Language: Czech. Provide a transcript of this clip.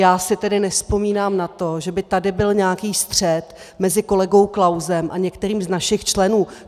Já si tedy nevzpomínám na to, že by tady byl nějaký střet mezi kolegou Klausem a některým z našich členů.